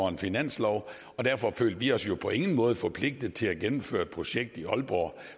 en finanslov og derfor følte vi os jo på ingen måde forpligtet til at gennemføre et projekt i aalborg